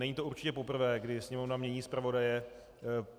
Není to určitě poprvé, kdy Sněmovna mění zpravodaje.